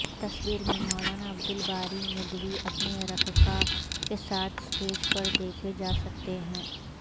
تصویرمیں مولانا عبد الباری ندوی اپنے رفقاء کے ساتھ اسٹیج پر دیکھے جاسکتے ہیں